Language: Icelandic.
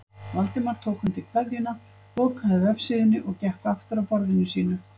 Valdimar tók undir kveðjuna, lokaði vefsíðunni og gekk aftur að borðinu sínu.